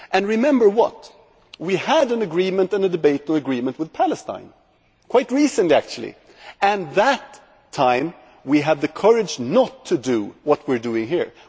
Remember that we had an agreement and a debate on an agreement with Palestine quite recently actually and at that time we had the courage not to do what we are doing here.